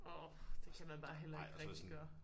Åh det kan man bare heller ikke rigtig gøre